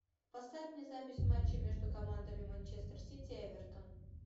поставь мне запись матча между командами манчестер сити и эвертон